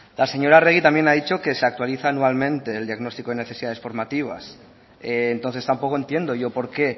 la señora arregi también ha dicho que se actualiza anualmente el diagnóstico de necesidades formativas entonces tampoco entiendo yo por qué